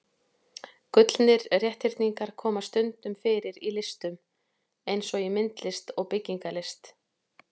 Gullnir rétthyrningar koma stundum fyrir í listum eins og í myndlist og byggingarlist.